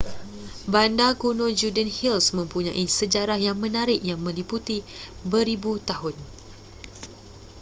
bandar kuno judean hills mempunyai sejarah yang menarik yang meliputi beribu tahun